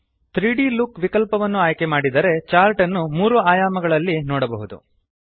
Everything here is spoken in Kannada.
3ದ್ ಲುಕ್ ವಿಕಲ್ಪವನ್ನು ಆಯ್ಕೆ ಮಾಡಿದರೆ ಚಾರ್ಟ್ ಅನ್ನು 3 ಆಯಾಮಗಳಲ್ಲಿ ನೋಡಬಹುದು